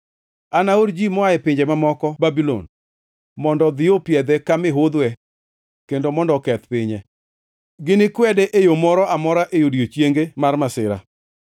Anaor ji moa e pinje mamoko Babulon mondo odhi opiedhe ka miudhwe kendo mondo oketh pinye; ginikwede e yo mora amora e odiechienge mar masira.